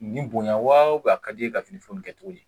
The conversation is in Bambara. Nin bonya waa u bɛn a kad'iye ka fini feere in kɛ togo di